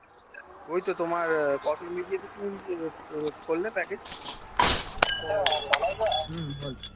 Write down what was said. এই তো তোমার হুম হুম